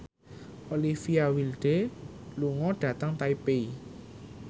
Olivia Wilde lunga dhateng Taipei